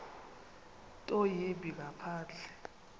nto yimbi ngaphandle